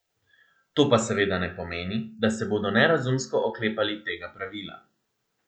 To pa seveda ne pomeni, da se bodo nerazumsko oklepali tega pravila.